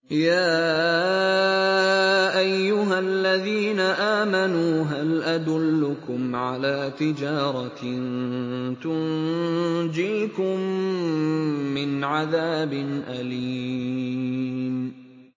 يَا أَيُّهَا الَّذِينَ آمَنُوا هَلْ أَدُلُّكُمْ عَلَىٰ تِجَارَةٍ تُنجِيكُم مِّنْ عَذَابٍ أَلِيمٍ